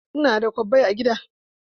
Ina da kwabbai a gida.